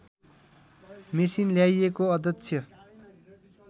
machine ल्याइएको अध्यक्ष